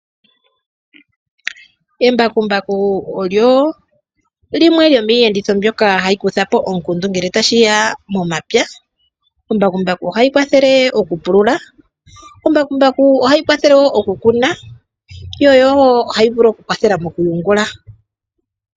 Embakumbaku olyo lyimwe lyomiiyenditho mbyoka ha yi kandulapo omukundu ngele ta shi ya momapya. Embakumbaku ohali kwathele oku pulula, ohali kwathele woo oku kuna lyo ohali kwathele woo mo kuyungula.